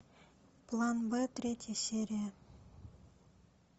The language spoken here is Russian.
план б третья серия